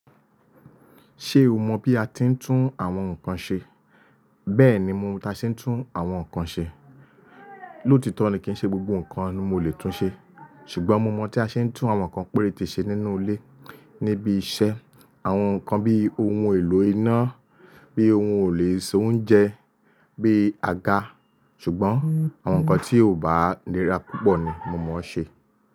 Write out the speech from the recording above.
Ṣé o mọ bí a ti ń tún àwọn ǹkan ṣe? Bẹ́ẹ̀ni, mo mọ bí a ṣe ń tún àwọn ǹkan ṣe. Lótitọ́ ni kí n ṣe gbogbo ǹkan ni mo lè tún ṣe, ṣùgbọ́n mo mọ̀ tí a ṣe ń tún àwọn ǹkan péréte ṣe nínú ilé, níbi iṣẹ́, àwọn ǹkan bíi ohun èlò iná, bí ohun elo isóùńjẹ, bí aga. Ṣùgbọ́n àwọn nkan tí ò bá nira púpọ̀ ni mo mọ̀ ṣe.